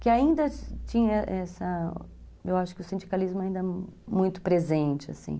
Que ainda tinha essa... eu acho que o sindicalismo ainda é muito presente, assim.